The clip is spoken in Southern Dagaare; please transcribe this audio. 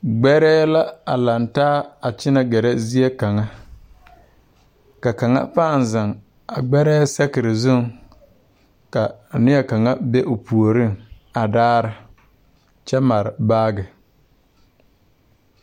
Gbɛrɛɛ la a laŋtaa a kyɛnɛ gɛrɛ zie kaŋ ka kaŋa pãã zeŋ a gbɛrɛɛ sakire zuŋ ka a nie kaŋa be puoriŋ a daara kyɛ mare baagi.